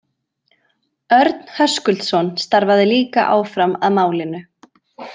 Örn Höskuldsson starfaði líka áfram að málinu.